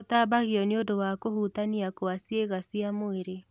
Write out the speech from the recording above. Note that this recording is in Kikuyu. ũtambagio nĩũndu wa kũhutania kwa ciĩga cia mwĩrĩ